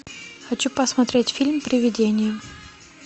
хочу посмотреть фильм привидение